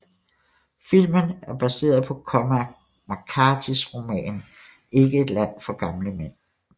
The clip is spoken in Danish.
Filmen er baseret på Cormac McCarthys roman Ikke et land for gamle mænd